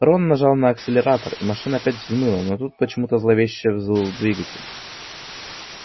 рон нажал на акселератор и машина опять взмыла но тут почему-то зловеще взвыл двигатель